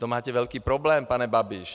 To máte velký problém, pane Babiš.